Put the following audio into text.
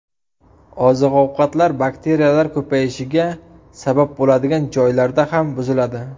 Oziq-ovqatlar bakteriyalar ko‘payishiga sabab bo‘ladigan joylarda ham buziladi.